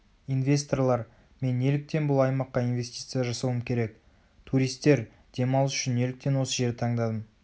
инвесторлар мен неліктен бұл аймақа инвестиция жасауым керек туристер демалыс үшін неліктен осы жерді таңдадым